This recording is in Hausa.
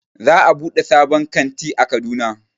Za a buɗe sabon kanti a Kaduna